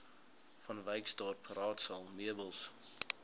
vanwyksdorp raadsaal meubels